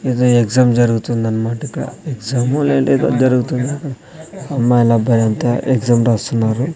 ఏదో ఎగ్జామ్ జరుగుతుందనమాట ఇక్కడ ఎగ్జామ్ లేదంటే ఏదో జరుగుతుంది అమ్మాయిలు అబ్బాయిలంతా ఎగ్జామ్ రాస్తున్నారు.